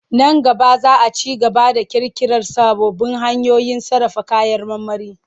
Nan gaba za a ci gaba da ƙirƙirar sababbin hanyoyin sarrafa kayan marmari.